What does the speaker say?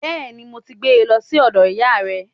Bẹ́ẹ̀ni. Mo ti gbé e lọ sí ọ̀dọ̀ ìyáa rẹ̀.